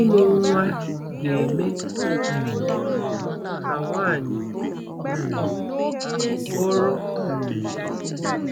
Ịmụ nwa ga-eme um ka nwanyị um bụrụ um